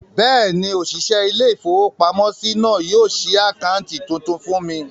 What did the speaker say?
Bẹ́ẹ̀ni, òṣìṣẹ́ ilé-ìfowópamọ́sí náà yóò ṣí àkáǹtì tuntun fún mi